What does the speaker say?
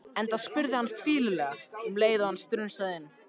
Enda spurði hann fýlulega um leið og hann strunsaði inn